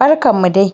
Barkanmu dai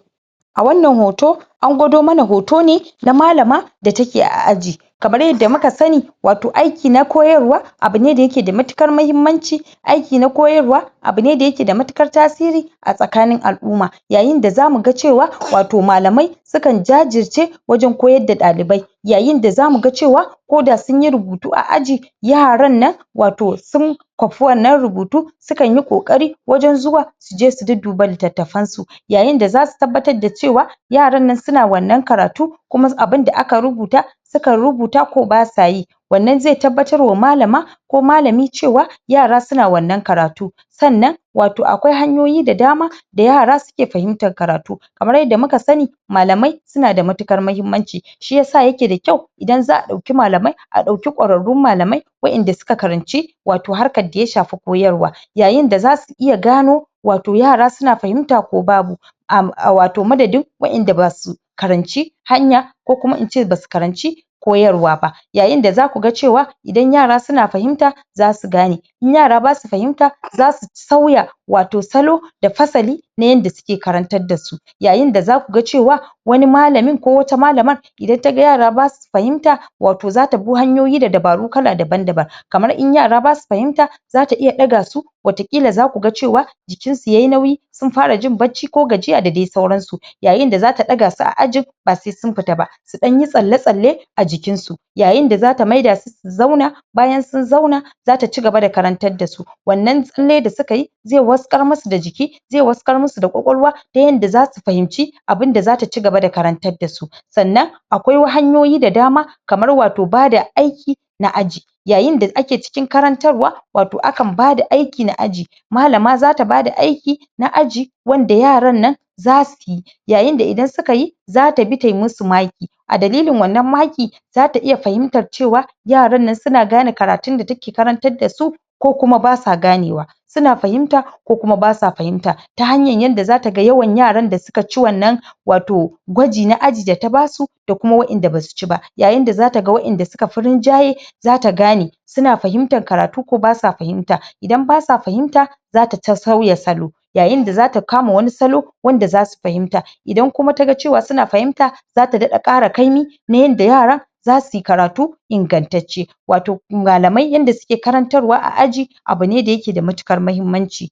a wannan hoto an gwado mana hoto ne na malama da take a aji kamar yadda muka sani wato aiki na koyarwa abu ne da ke da matuƙar muhimmanci aiki na koyarwa abu ne da yake da matuƙar tasiri a tsakanin al’umma yayin da zamu ga cewa wato malamai sukan jajirce wajen koyar da ɗalibai yayin da zamu ga cewa ko da sun yi rubutu a aji, yaran nan wato sun kwafi wannan rubutu sukan yi ƙoƙari wajen zuwa su je su dudduba littatafansu yayin da zasu tabbatar da cewa yaran nan suna wannan karatu kuma abin da aka rubuta sukan rubuta ko basa yi wannan zai tabbatarwa malama ko malami cewa yara suna wannan karatu sannan wato akwai hanyoyi da dama da yara suke fahimtar karatu kamar yadda muka sani malamai suna da matuƙar mahimmanci shi yasa yake da kyau idan za a ɗauki malamai a ɗauki ƙwararrun malamai wa’inda suka karanci wato harkar da ya shafi koyarwa yayin da zasu iya gano wato yara suna fahimta ko babu wato madadin wa’inda basu karanci hanya ko kuma in ce basu karanci koyarwa ba Yayin da zaku ga cewa idan yara suna fahimta zasu gane in yara basu fahimta zasu sauya wato salo da fasali na yadda suke karantar da su yayin da zaku ga cewa wani malamin ko wata malama idan ta ga yara basu fahimta wato zata bi hanyoyi da dabaru daban-daban kamar in yara basu fahimta zata iya ɗaga su wataƙila zaku ga cewa jikinsu yai nauyi sun fara jin bacci ko gajiya da dai sauransu, yayin da zata ɗaga su a ajin ba sai sun fita ba, su ɗan yi tsalle-tsalle a jikinsu yayin da zata maida su su zauna bayan sun zauna zata cigaba da karantar da su wannan tsalle da suka yi zai waskar musu da jiki zai waskar musu da kwakwalwa ta yanda zasu fahimci abin da zata cigaba da karantar da su sannan sannan akwai hanyoyi da dama kamar wato bada aiki na aji yayin da ake cikin karantarwa wato akan bada aiki na aji malama zata bada aiki na aji wanda yaran nan zasu yi yayin da idan suka yi zata bi tai musu maki a dalilin wannan maki zata iya fahimtar cewa yaran nan suna gane karatun da take karantar da su ko kuma basa ganewa suna fahimta ko kuma basa fahimta ta hanyar yadda zata ga yawan yaran da suka ci wannan wato wato gwaji na aji da ta basu da kuma wa’inda basu ci ba yayin da zata ga wa’inda suka fi rinjaye zata gane suna fahimtar karatu ko basa fahimta idan basa fahimta zata sauya salo yayin da zata kama wani salo wanda zasu fahimta idan kuma taga cewa suna fahimta zata daɗa ƙara kaimi na yadda yaran zasu yi karatu ingantacce wato malamai yadda suke karantarwa a aji abu ne da yake da matuƙar muhimmanci